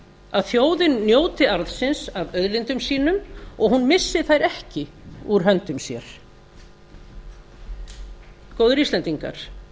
að þjóðin njóti aðeins af auðlindum sínum og hún missi þær ekki úr hendi sér góðir íslendingar